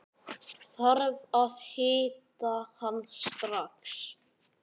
Þarf að hitta hann strax.